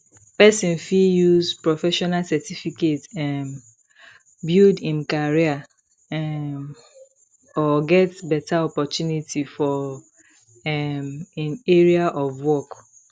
person fit use professional certificate um build im career um or get better opportunity for um im area of work